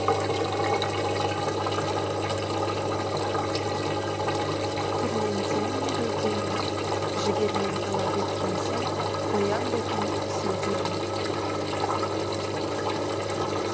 түрлентемін гүлдерін жігермен талап еткен соң қоям ба екен сүлдерін